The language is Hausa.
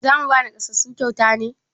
Za mu ba naƙasassu kyauta ne?